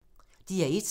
DR1